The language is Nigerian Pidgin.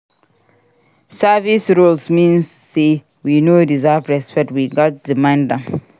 Service roles no mean say we no deserve respect; we gatz demand am.